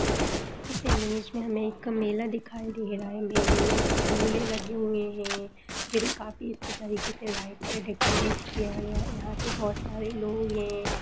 इस इमेज में हमें एक मेला दिखाई दे रहा है मेले में झूले लगे हुए हैजिन्हें काफी अच्छी तरीके से लाइट से डेकोरेट किया गया है यहाँ पे बहुत सारे लोग है।